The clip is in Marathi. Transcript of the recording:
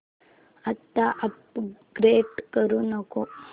आता अपग्रेड करू नको